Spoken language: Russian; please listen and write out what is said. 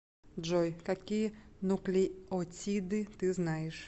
джой какие нуклеотиды ты знаешь